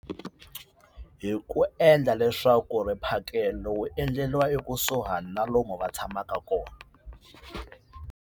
Hi ku endla leswaku mphakelo wu endleriwa ekusuhani na lomu va tshamaka kona.